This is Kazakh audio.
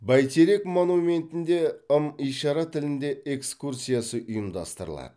бәйтерек монументінде ым ишара тілінде экскурсиясы ұйымдастырылады